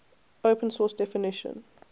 open source definition